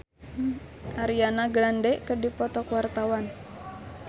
Ernest Prakasa jeung Ariana Grande keur dipoto ku wartawan